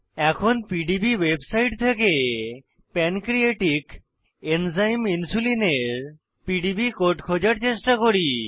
এখন PDB website থেকে pancreatic enzyme insulin এর পিডিবি কোড খোঁজার চেষ্টা করি